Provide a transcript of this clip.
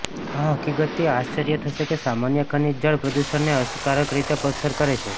આ હકીકતથી આશ્ચર્ય થશે કે સામાન્ય ખનિજ જળ પ્રદૂષણને અસરકારક રીતે અસર કરે છે